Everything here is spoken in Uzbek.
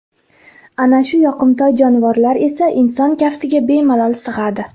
Ana shu yoqimtoy jonivorlar esa inson kaftiga bemalol sig‘adi.